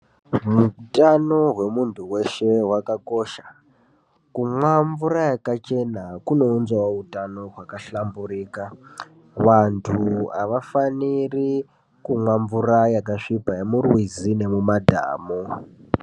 Hutano hwemuntu weshe hwakakosha. Kumwa mvura yakachena kunounzawo utano wakahlamburika. Vantu avafaniri kumwa mvura yakasviba, yemumarwizi nemumadhamu.